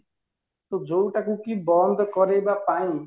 ଯୋଉଟାକୁ କି ବନ୍ଦ କରେଇବା ପାଇଁ